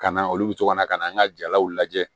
Ka na olu bɛ to ka na ka na an ka jalaw lajɛ